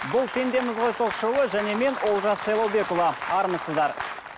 бұл пендеміз ғой ток шоуы және мен олжас сайлаубекұлы армысыздар